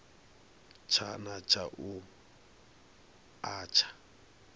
tshana tsha u a tsha